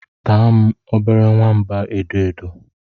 Taa m, obere nwamba edo edo.